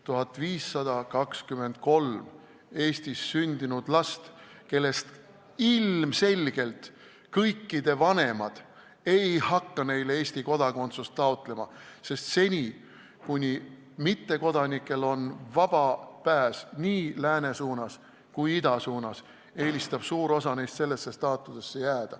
1523 Eestis sündinud last, kellest ilmselgelt kõikide vanemad ei hakka neile Eesti kodakondsust taotlema, sest seni, kuni mittekodanikel on vaba pääs nii lääne suunas kui ka ida suunas, eelistab suur osa neist sellesse staatusesse jääda.